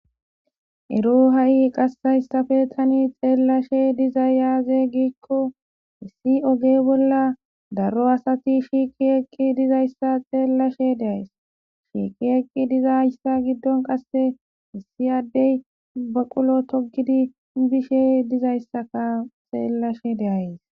Ero ha'i qas hayssappe tani xeelashe dizay aaze gikko issi oge bolla daro asati shiiqi eqqi dizayssa xeelashe de'ays; shiiqi eqqi dizayssa giddon qasse issi addey baqulo toggidi bishe dizayssaka xeelashe de'ays.